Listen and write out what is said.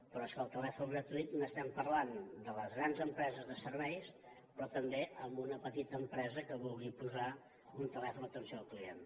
però és que el telèfon gratuït n’estem parlant de les grans empreses de serveis però també d’una petita empresa que vulgui posar un telèfon d’atenció al client